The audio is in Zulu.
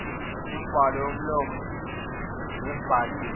kumibhalo yomlomo nebhaliwe